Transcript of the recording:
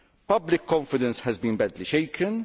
Public confidence has been badly shaken.